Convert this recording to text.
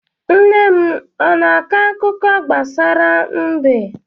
Nne m ọ na-akọ akụkọ gbasara mbe?